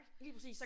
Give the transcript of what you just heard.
Lige præcis